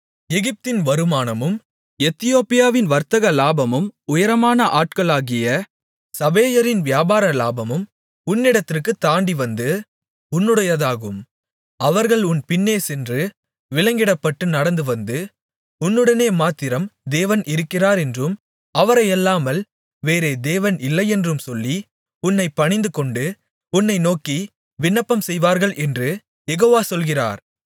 எகிப்தின் வருமானமும் எத்தியோப்பியாவின் வர்த்தகலாபமும் உயரமான ஆட்களாகிய சபேயரின் வியாபார லாபமும் உன்னிடத்திற்குத் தாண்டிவந்து உன்னுடையதாகும் அவர்கள் உன் பின்னே சென்று விலங்கிடப்பட்டு நடந்துவந்து உன்னுடனே மாத்திரம் தேவன் இருக்கிறார் என்றும் அவரையல்லாமல் வேறே தேவன் இல்லையென்றும் சொல்லி உன்னைப் பணிந்துகொண்டு உன்னை நோக்கி விண்ணப்பம் செய்வார்கள் என்று யெகோவா சொல்கிறார்